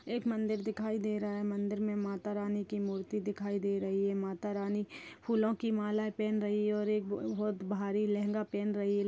एक मंदिर दिखाई दे रहा है मंदिर मे माता रानी की मूर्ति दिखाई दे रही है माता रानी फूलों की मालाएँ पहन रही है और एक ब- बहोत भारी लहंगा पहन रही है।